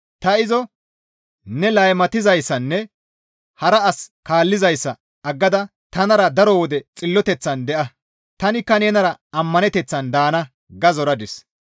Ta izo, «Ne laymatizayssanne hara as kaallizayssa aggada tanara daro wode xilloteththan de7a; tanikka nenara ammaneteththan daana» ga zoradis.